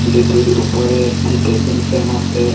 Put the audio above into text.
যেটির উপরে একটি টেবিল ফ্যান আছে।